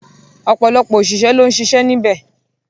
Ọ̀pọ̀lọpọ̀ ọ̀sìṣẹ́ ló ń siṣẹ́ níbẹ̀.